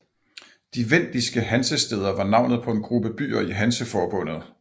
De vendiske hansestæder var navnet på en gruppe byer i Hanseforbundet